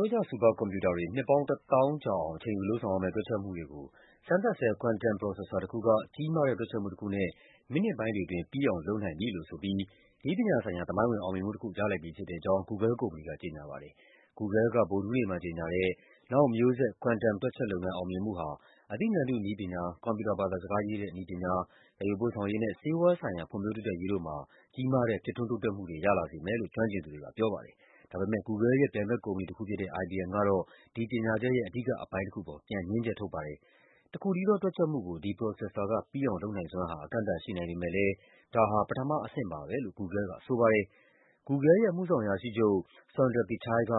ိုးကျ ဆူပါကွန်ပြူတာတွေ နှစ်ပေါင်း ၁၀,၀၀၀ အချိန်ယူလုပ်ရမယ့် တွက်ချက်မှုတွေကို စမ်းသပ်ဆဲ quantum process တခုက ကြီးမားတဲ့ တွက်ချက်မှုတခုနဲ့ မိနစ်ပိုင်းတွေ အတွင်း ပြီးအောင်လုပ်နိုင် လိုက်ပြီလို့ ဆိုပြီး နည်းပညာဆိုင်ရာ သမိုင်း ဝင် အောင်မြင်မှုတခု ရလိုက်ပြီဖြစ်တဲ့အကြောင်း Google ကုမ္ပဏီက ကြေညာပါတယ်။ Google က ဗုဒ္ဓဟူးနေ့မှာ ကြေညာတဲ့ နောက်မျိုးဆက် quantum တွက်ချက်လုပ်ငန်း အောင်မြင်မှုဟာ အသိဉာဏ်တု နည်းပညာ၊ ကွန်ပြူတာ ဘာသာစကားရေးတဲ့ နည်းပညာ၊ သယ်ယူပို့ဆောင်ရေးနဲ့ ဆေးဝါးဆိုင်ရာ ဖွံ့ဖြိုးတိုးတက်ရေး တို့မှာ ကြီးမားတဲ့ ဖြစ်ထွန်း တိုးတက်မှုတွေ ရလာစေမယ်လို့ ကျွမ်းကျင်သူတွေကပြောပါတယ်။ ဒါပေမယ့် Google ရဲ့ပြိုင်ဘက်ကုမ္ပဏီ တခုဖြစ်တဲ့ IBM ကတော့ ဒီကြေညာချက်ရဲ့ အဓိကအပိုင်းတခုအပေါ် ပြန်ငြင်းချက် ထုတ်ပါတယ်။ တခုတည်းသော တွက်ချက်မှုကို ဒီပရိုဆက်ဆာက ပြီးအောင်လုပ်နိုင်စွမ်းဟာ အကန့်အသတ် ရှိနိုင်ပေမယ့်လည်း ဒါဟာ ပထမ အဆင့်ပါပဲလို့ Google ကဆိုပါတယ်။ Google ရဲ့ အမှုဆောင်အရာရှိချုပ် Sundar Pichai က